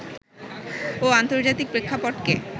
ও আন্তর্জাতিক প্রেক্ষাপটকে